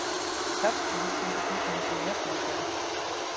Kjartan myndi taka þessu með jafnaðargeði.